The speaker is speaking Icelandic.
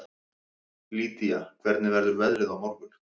Lýdía, hvernig verður veðrið á morgun?